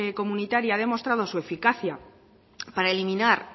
comunitaria ha demostrado su eficacia para eliminar